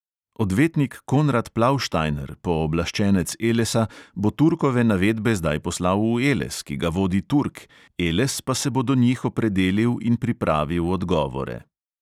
Odvetnik konrad plauštajner, pooblaščenec elesa, bo turkove navedbe zdaj poslal v eles, ki ga vodi turk, eles pa se bo do njih opredelil in pripravil odgovore.